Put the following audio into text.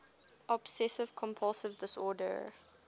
obsessive compulsive disorder